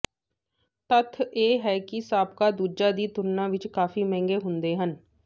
ਤੱਥ ਇਹ ਹੈ ਕਿ ਸਾਬਕਾ ਦੂਜਾ ਦੀ ਤੁਲਨਾ ਵਿਚ ਕਾਫ਼ੀ ਮਹਿੰਗੇ ਹੁੰਦੇ ਹਨ